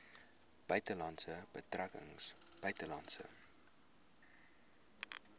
buitelandse betrekkinge buitelandse